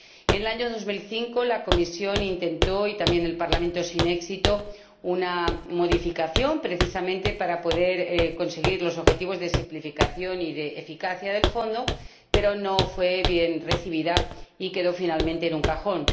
En el año 2005, la Comisión ―y también el Parlamento― intentaron sin éxito una modificación ―precisamente para poder conseguir los objetivos de simplificación y de eficacia del Fondo―, pero no fue bien recibida y quedó finalmente en un cajón.